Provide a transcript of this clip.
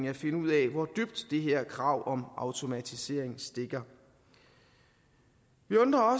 at finde ud af hvor dybt det her krav om automatisering stikker vi undrer